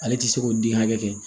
Ale ti se k'o den hakɛ kɛ